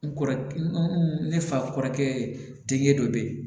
N kɔrɔ ne fa kɔrɔkɛ te dɔ bɛ yen